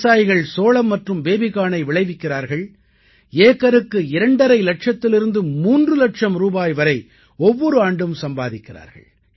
விவசாயிகள் சோளம் மற்றும் பேபிகார்னை விளைவிக்கிறார்கள் ஏக்கருக்கு 2 ½ இலட்சத்திலிருந்து 3 இலட்சம் ரூபாய் வரை ஒவ்வொரு ஆண்டும் சம்பாதிக்கிறார்கள்